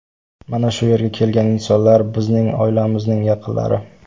Mana shu yerga kelgan insonlar, bizning oilamizning yaqinlari.